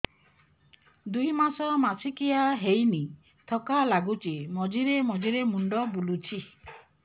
ଦୁଇ ମାସ ମାସିକିଆ ହେଇନି ଥକା ଲାଗୁଚି ମଝିରେ ମଝିରେ ମୁଣ୍ଡ ବୁଲୁଛି